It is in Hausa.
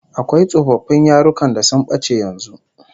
Akwai tsofaffin yarukan da sun bace yanzu